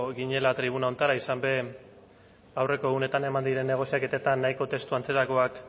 ginela tribuna honetara izan be aurreko egunetan eman diren negoziaketetan nahiko testu antzerakoak